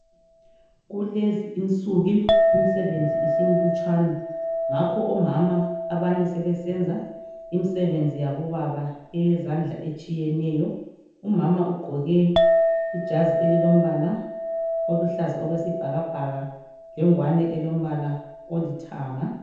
Kulezi insuku imisebenzi isimlutshwana ngakho omama abanye sebesenza imisebenzi yabobaba eyezandla etshiyeneyo, umama ugqoke ijazi elilombala oluhlaza okwesibhakabhaka lengwane elombala olithanga.